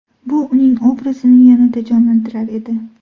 Bu uning obrazini yanada jonlantirar edi.